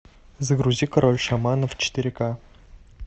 загрузи король шаманов четыре ка